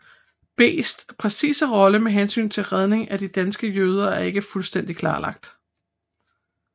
Bests præcise rolle med hensyn til Redningen af de danske jøder er ikke fuldstændig klarlagt